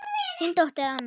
Þín dóttir, Anna.